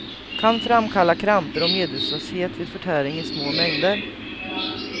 Kan framkalla kramper och medvetslöshet vid förtäring i små mängder.